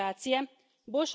Ste sedanjost.